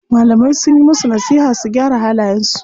Malamai sunyi musu nasiha su gyara halayen su.